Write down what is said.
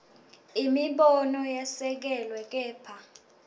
imibono yesekelwe kepha